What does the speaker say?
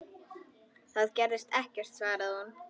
Það gerðist ekkert, svaraði hún.